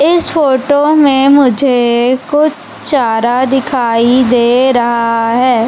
इस फोटो में मुझे कुछ चारा दिखाई दे रहां हैं।